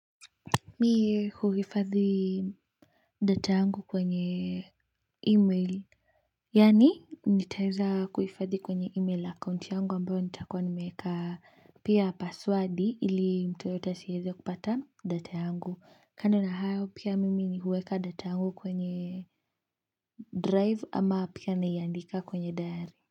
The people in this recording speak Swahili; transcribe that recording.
Mie huhifadhi data yangu kwenye email. Yani nitaeza kuhifadhi kwenye email akaunti yangu ambayo nitakuwa nimeeka pia password ili mtu yoyote asiweze kupata data yangu. Kando na hayo pia mimi ni huweka data yangu kwenye drive ama pia naiandika kwenye diary.